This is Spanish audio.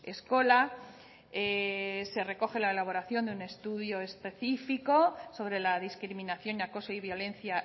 eskola se recoge la elaboración de un estudio específico sobre la discriminación acoso y violencia